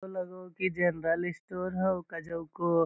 लग हो की जनरल स्टोर हाउ क़ज़उ को |